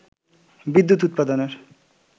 বিদ্যুৎ উৎপাদনের